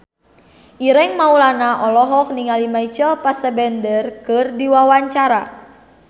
Ireng Maulana olohok ningali Michael Fassbender keur diwawancara